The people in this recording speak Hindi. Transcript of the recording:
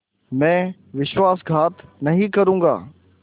मैं विश्वासघात नहीं करूँगा